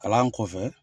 Kalan kɔfɛ